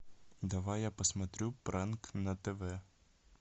давай я посмотрю пранк на тв